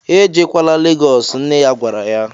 "Ejekwaala Legos" nne ya gwara ya